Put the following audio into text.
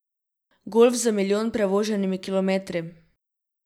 Golf z milijon prevoženimi kilometri.